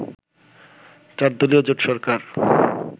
চার দলীয় জোট সরকার